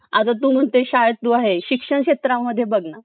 आता तू म्हणते तू शाळेत तू आहे शिक्षण क्षेत्रामध्ये बघ ना